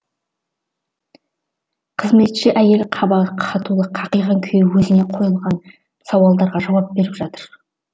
қызметші әйел қабағы қатулы қақиған күйі өзіне қойылған сауалдарға жауап беріп жатыр